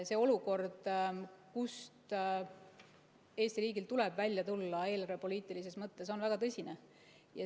See olukord, kust Eesti riigil tuleb välja tulla eelarvepoliitilises mõttes, on väga tõsine.